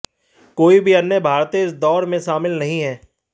कोई भी अन्य भारतीय इस दौड़ में शामिल नहीं है